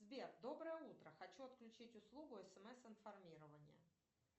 сбер доброе утро хочу отключить услугу смс информирование